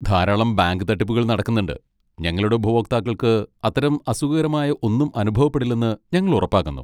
ധാരാളം ബാങ്ക് തട്ടിപ്പുകൾ നടക്കുന്നുണ്ട്, ഞങ്ങളുടെ ഉപഭോക്താക്കൾക്ക് അത്തരം അസുഖകരമായ ഒന്നും അനുഭവപ്പെടുന്നില്ലെന്ന് ഞങ്ങൾ ഉറപ്പാക്കുന്നു.